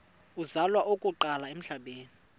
uzalwa okokuqala emhlabeni